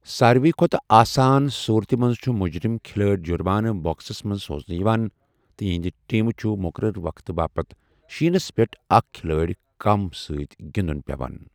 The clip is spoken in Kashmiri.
ساروِی کھۄتہٕ آسان صورتہِ منٛز چھُ مُجرِم کھلٲڑۍ جُرمانہٕ باکسَس منٛز سوزنہٕ یِوان تہٕ یِہنٛدِ ٹیمہِ چھُ مُقرر وقتہٕ باپتھ شیٖنَس پٮ۪ٹھ اکھ کھلٲڑۍ کم سۭتۍ گِنٛدُن پٮ۪وان۔